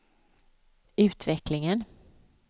utvecklingen